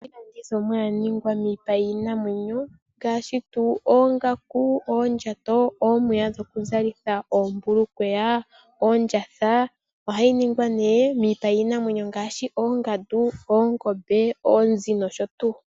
Opu ba iilandithomwa yaningwa miipa yiinamwenyo, ngaashi oongaku, oondjato, omapaya gokuzalitha oombulukweya noondjatha. Oha yi ningwa miipa yiinamwenyo ngaashi oongandu, oongombe, oonzi nosho tuu.